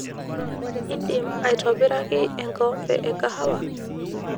idim aitobiraki enkombee ekahawa